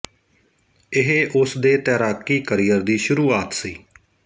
ਇਹ ਉਸ ਦੇ ਤੈਰਾਕੀ ਕਰੀਅਰ ਦੀ ਸ਼ੁਰੂਆਤ ਸੀ